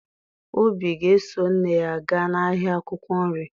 Obi ga-eso nne ya gaa n'ahịa akwụkwọ nri